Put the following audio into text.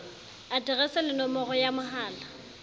aterese le nomoro ya mohala